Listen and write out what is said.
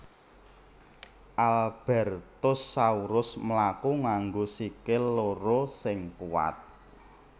Albertosaurus mlaku nganggo sikil loro sing kuwat